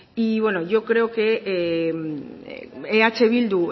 y bueno yo creo que eh bildu